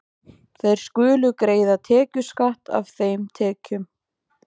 Þeir skulu greiða tekjuskatt af þeim tekjum.